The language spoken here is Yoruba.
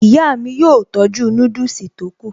Ìyá mi yóò tọ́jú núdùsì yòókù